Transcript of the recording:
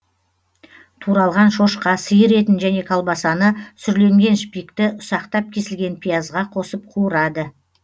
туралған шошқа сиыр етін және колбасаны сүрленген шпикті ұсақтап кесілген пиязға қосып қуырады